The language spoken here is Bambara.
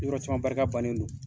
yɔrɔ caman barika bannen do.